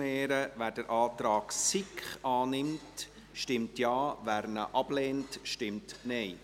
Wer den Antrag SiK annimmt, stimmt Ja, wer diesen ablehnt, stimmt Nein.